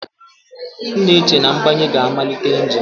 M na-eche na mgbanye ga-amalite engine.